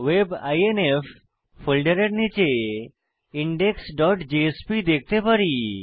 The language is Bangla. web আইএনএফ ফোল্ডারের নীচে indexজেএসপি দেখতে পারি